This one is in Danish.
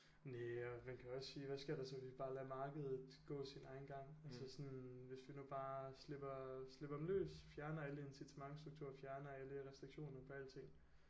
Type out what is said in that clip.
Næ og man også sige hvad sker der så hvis vi bare lader markedet gå sin egen gang altså sådan hvis vi nu bare slipper slipper dem løs fjerner alle incitamentstrukturer fjerner alle restriktioner på alting